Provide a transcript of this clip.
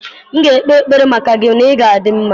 M ga-ekpe ekpere maka gị na ị ga-adị mma.